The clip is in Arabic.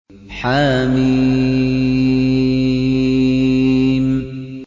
حم